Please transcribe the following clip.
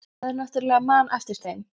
En maður náttúrlega man eftir þeim.